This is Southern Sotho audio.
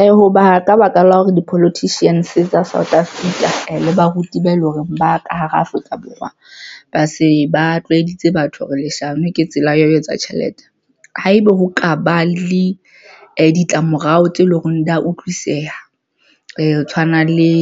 Ee, hoba ka baka la hore di-politicians tsa South Africa le baruti ba eleng hore ba ka hara Afrika Borwa ba se ba tlwaeditse batho leshano ke tsela ya ho etsa tjhelete haebe ho kaba le ditlamorao tse leng hore di ya utlwisiseha ho tshwana le